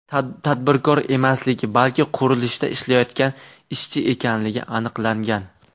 tadbirkor emasligi, balki qurilishda ishlayotgan ishchi ekanligi aniqlangan.